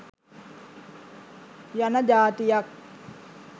යන ජාතියක්.